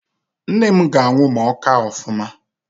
Nne m ga-anwụ ma ọ kaa ofụma.